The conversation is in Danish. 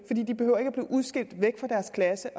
behøver at blive udskilt væk fra deres klasse